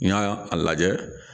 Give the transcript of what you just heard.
N y'a lajɛ